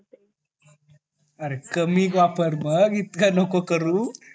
अरे कमी वापर मग इतका नको करू